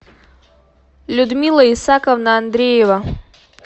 людмила исааковна андреева